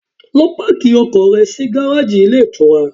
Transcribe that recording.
Lọ páàkì ọkọ̀ rẹ sí gáráàjì ilé ìtura!